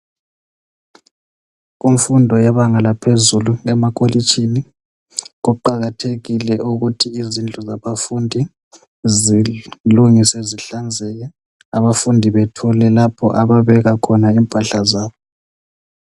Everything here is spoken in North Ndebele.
Kumfundo yebanga laphezulu lemakolitshini. Kuqakathekile ukuthi izindlu zabafundi zilungilungiswe zihlanzeke. Abafundi bethole lapho ababeka khona impahla zabo.